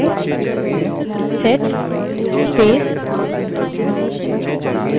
वर्त्तमान shell में सभी उपलब्ध variables को देखने के लिए हम command set को चलायेंगे